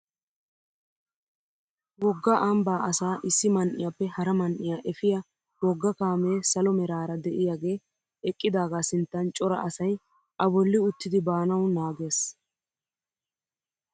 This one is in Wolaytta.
Wogga ambbaa asaa issi man"iyaappa hara man"iyaa efiyaa wogga kaamee salo meraara de'iyaage eqqidaaga sinttan cora asay a bolli uttidi baanawu naagees!